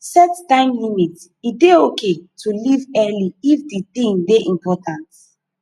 set time limit e dey okay to leave early if the thing dey important